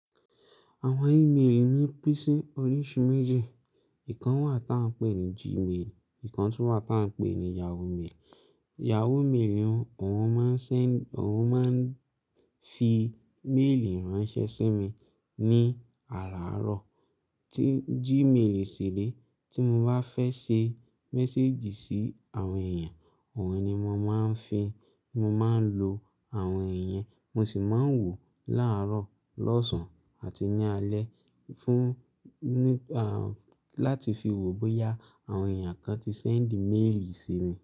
Àwọn iméemì ní pín sí oríṣi méjì. Ìkan wà tí à ń pè ní jí ímeèlì, ìkan sì wà tí à ń pè ní Yahoo ímeèlì Yahoo Mail ni wọ́n máa ń send, wọ́n máa ń fi mail ránṣẹ́ sí mi ní àráárọ̀. Tí Gmail síré, tí mo bá fẹ́ ṣe message sí àwọn èèyàn, òun ni mo máa ń fi, mo máa ń lo àwọn ìyẹn, mo sì máa ń wò láàárọ̀, lọ́sàn-án àti ní alé fún, ní, àn, láti fi wo bóyá àwọn èèyàn kan ti send email sí mi.